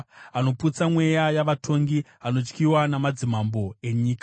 Anoputsa mweya yavatongi; anotyiwa namadzimambo enyika.